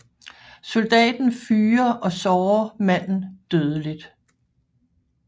Soldaten fyrer og sårer manden dødeligt